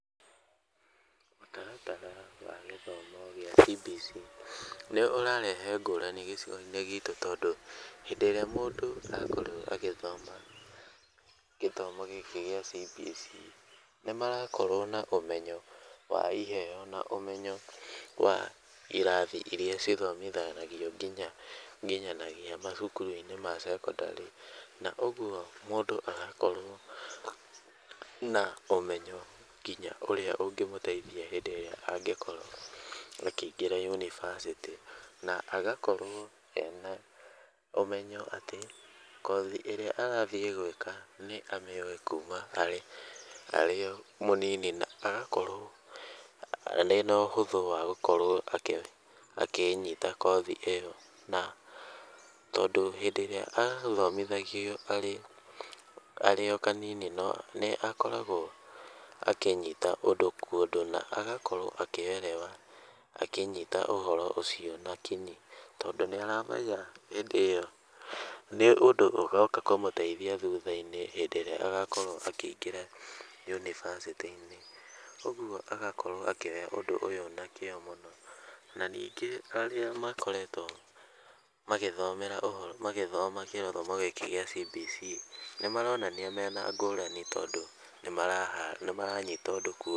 Mũtaratara wa gĩthomo gĩa CBC nĩ ũrarehe ngũrani gĩcigo-inĩ gitũ tondũ , hĩndĩ ĩrĩa mũndũ akorwo agĩthoma gĩthomo gĩkĩ gĩa CBC, nĩ marakorwo na ũmenyo wa iheo, na ũmenyo wa ũrĩa irathi ithomithanagio nginya nginyanagia macukuru ma sekondarĩ , na ũgwo mũndũ agakorwo na ũmenyo nginya ũngĩmũtiethia hĩndĩ ĩrĩa angĩkorwo akĩingĩra yunĩvasĩtĩ ,na agakorwo ena ũmenyo atĩ, kothi ĩrĩa arathiĩ gwĩka nĩ amĩũĩ kuma arĩ o mũnini, na agakorwo ena ũhũthũ wa gũkorwo akĩnyita kothi ĩyo, na tondũ hĩndĩ ĩrĩa athomithagio arĩ , arĩ o kanini nĩ akoragwo akĩnyita ũndũ kwa ũndũ na agakorwo akĩerewa, akĩnyita ũhoro ũcio na kinyi , tondũ nĩ aramenya hĩndĩ ĩyo, nĩ ũndũ ũgoka kũmũteithia thutha-inĩ hĩndĩ ĩrĩa agakorwo akĩingĩra yunivasĩtĩ-inĩ, ũgwo agakorwo akĩoya ũndũ ũyũ na kĩo mũno, na ningĩ arĩa makoretwo magĩthomera ũhoro, magĩthoma gĩthomo gĩkĩ gĩa CBC, nĩ maronania mena ngũrani tondũ, nĩmarahara nĩmaranyita ũndũ kwa ũndũ.